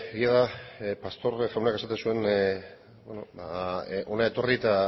egia da pastor jaunak esaten zuen hona etorri eta